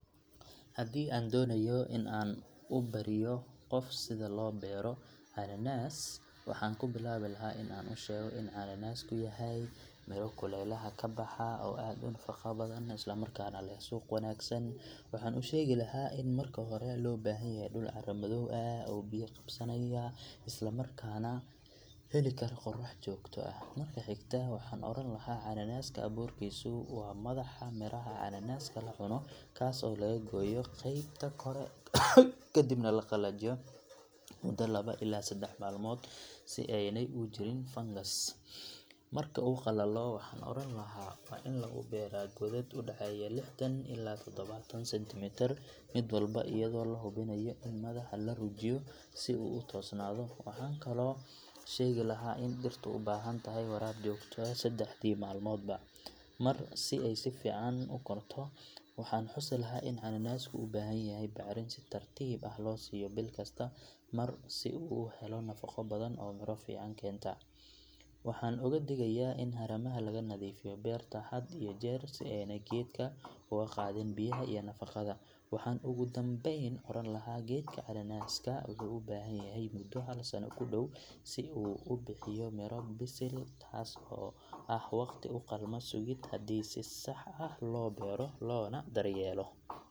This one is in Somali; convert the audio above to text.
Hadi an donayo inan u bero hubsiga loo beroo cananas waxan ku bilabi lahay in cananasku yahay kabaha oo aad nafaqa u leh oo suq wanagsan, isla markana waxan u shegi lahaa ini marki hore loo bahan yahaa dhul cara madow ah biya qabsanaya. Mida higta waxan oran laha cananaska aburkisu waa madaxa ,miraha lacuno taso laga goyo madaxa kore kadibna lacuno mudo laba ila sedex malmod si ayna u galin fangas marka u qalalo waxan oran laha ini lagaliyo godad lixdan ila todobatan sentimitar godka walba iyado madaxa larujinaya si u tornado maxan kalo shegi lahaa ini dhirta u bahantahay ila sedex malmodba oo si fican u korto. Waxan tusi lahaa ini cananasku u bahan yahay bacrmiski fican oo si tartib ah loo siyo bil kasta, marka si u helo nafaqa fican oo helis kenta. Waxan oga digaya ini harumadan laga nadifiyo berta si gedka oga gadhin biyaha iyo nafaqada, waxan ugu danbeyn oran laha gedka cananaska wuxu u bahan yahay mudo hal sano kudow si u ubixiyo miro bisil oo waqti u qatan hadi si sax ah loo bero lona daryelo.